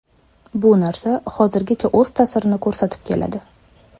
Bu narsa hozirgacha o‘z ta’sirini ko‘rsatib keladi.